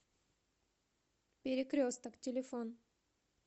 перекресток телефон